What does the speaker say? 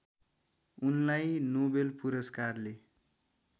उनलाई नोबेल पुरस्कारले